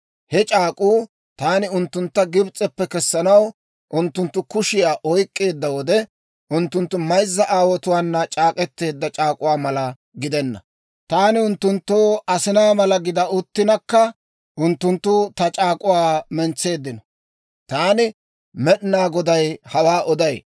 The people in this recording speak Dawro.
He c'aak'k'uu taani unttuntta Gibs'eppe kessanaw unttunttu kushiyaa oyk'k'eedda wode, unttunttu mayzza aawotuwaana c'aak'k'eteedda c'aak'uwaa mala gidenna; taani unttunttoo asinaa mala gida uttinakka unttunttu ta c'aak'uwaa mentseeddino. Taani Med'inaa Goday hawaa oday.